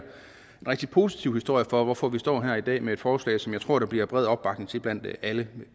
rigtig positiv historie om hvorfor vi står her i dag med et forslag som jeg tror der bliver bred opbakning til blandt alle